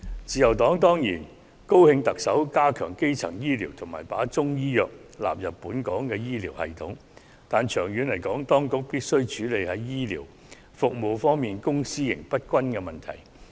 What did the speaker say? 自由黨當然高興特首加強基層醫療及把中醫藥納入本港的醫療系統，但長遠來說，當局必須處理醫療服務方面公私營不均的問題。